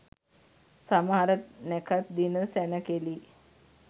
සමහර නැකැත් දින සැණකෙළි